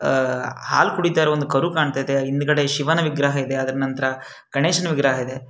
ಆಹ್ಹ್ ಹಾಲು ಕುಡಿತ ಇರೋ ಒಂದು ಕಾರು ಕಾಣ್ತಿದೆ ಹಿಂದ್ಗಡೆ ಶಿವನ ವಿಗ್ರಹ ಇದೆ ಅದರ ನಂತರ ಗಣೇಶನ ವಿಗ್ರಹ ಇದೆ.